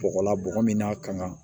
Bɔgɔ la bɔgɔ min n'a kan ka